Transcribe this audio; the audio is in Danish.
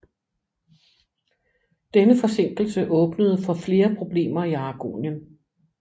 Denne forsinkelse åbnede for flere problemer i Aragonien